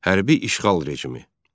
Hərbi işğal rejimi.